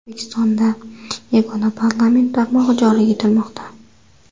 O‘zbekistonda yagona parlament tarmog‘i joriy etilmoqda.